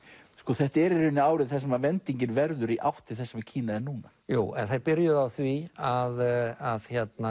þetta er í raun árið sem verður í átt til þess sem Kína er núna jú en þeir byrjuðu á því að því